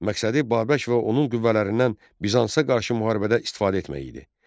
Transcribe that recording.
Məqsədi Babək və onun qüvvələrindən Bizansa qarşı müharibədə istifadə etmək idi.